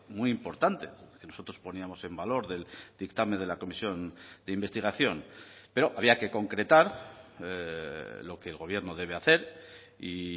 muy importante nosotros poníamos en valor del dictamen de la comisión de investigación pero había que concretar lo que el gobierno debe hacer y